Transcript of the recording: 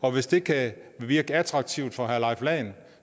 og hvis det kan virke attraktivt for herre leif lahn